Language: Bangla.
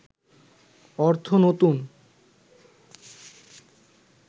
অর্থ নতুন